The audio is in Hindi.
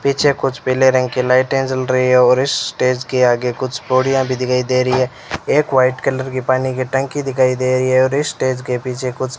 पीछे कुछ पीले रंग के लाइटें जल रही है और इस स्टेज के आगे कुछ बोड़ियां भी दिखाई दे रही है एक वाइट कलर की पानी की टंकी दिखाई दे रही है और इस स्टेज के पीछे कुछ --